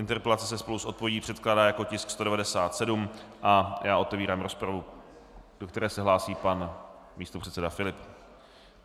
Interpelace se spolu s odpovědí předkládá jako tisk 197 a já otevírám rozpravu, do které se hlásí pan místopředseda Filip.